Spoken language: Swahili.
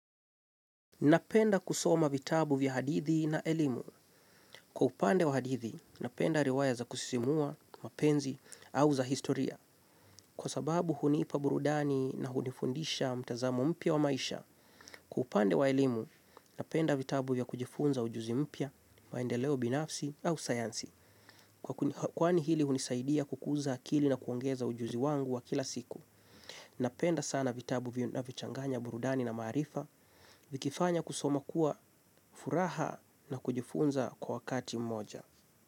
Napenda kusoma vitabu vya hadithi na elimu. Kwa upande wa hadithi, napenda riwaya za kusisimua, mapenzi, au za historia. Kwa sababu hunipa burudani na hunifundisha mtazamo mpya wa maisha. Kwa upande wa elimu, napenda vitabu vya kujifunza ujuzi mpya, maendeleo binafsi, au sayansi. Kwani hili hunisaidia kukuza akili na kuongeza ujuzi wangu wa kila siku. Napenda sana vitabu vinavyochanganya burudani na maarifa. Vikifanya kusoma kuwa furaha na kujifunza kwa wakati mmoja.